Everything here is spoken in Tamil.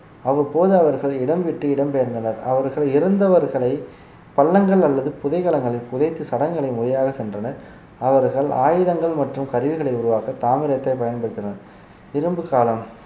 அவ்வப்போது அவர்கள் இடம் விட்டு இடம்பெயர்ந்தனர் அவர்கள் இறந்தவர்களை பள்ளங்கள் அல்லது புதைகலங்களில் புதைத்து சடங்குகளை முறையாக சென்றனர் அவர்கள் ஆயுதங்கள் மற்றும் கருவிகளை உருவாக்க தாமிரத்தை பயன்படுத்தினர் இரும்பு காலம்